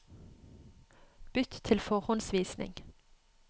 Bytt til forhåndsvisning